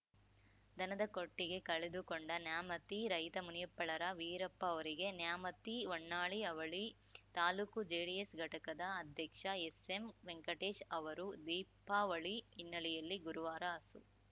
ದನದ ಕೊಟ್ಟಿಗೆ ಕಳೆದುಕೊಂಡ ನ್ಯಾಮತಿ ರೈತ ಮುನಿಯಪ್ಪಳರ ವೀರಪ್ಪ ಅವರಿಗೆ ನ್ಯಾಮತಿಹೊನ್ನಾಳಿ ಅವಳಿ ತಾಲೂಕು ಜೆಡಿಎಸ್‌ ಘಟಕದ ಅಧ್ಯಕ್ಷ ಎಸ್‌ಎಂವೆಂಕಟೇಶ್‌ ಅವರು ದೀಪಾವಳಿ ಹಿನ್ನೆಲೆಯಲ್ಲಿ ಗುರುವಾರ ಹಸು